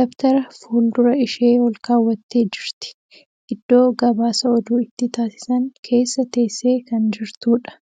Dabtara fuuldura ishee olkaawwattee jirti. Iddoo gabaasa oduu itti taasisan keessa teessee kan jirtuudha.